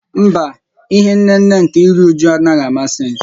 Mba, ihé nnéné nkè írú újú a naghị amasị m